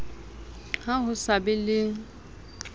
ha ho sa be le